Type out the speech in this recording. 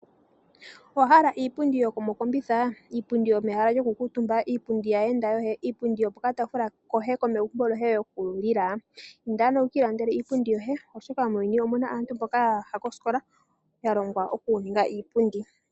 Owa hala iipundi yomokombitha, iipundi yomehala lyoku kuutumba iipundi kaayenda yoye, iipundi yopokataafula koye ko kulila? Inda ano wu kiilandele iipundi yoye, oshoka muuyuni omuna aantu mboka yaya kosikola yalongwa oku ninga iipundi.